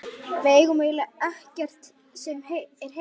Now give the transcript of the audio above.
Við eigum eiginlega ekkert sem er heilt.